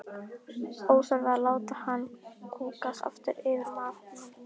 Óþarfi að láta hann kúgast aftur yfir matnum.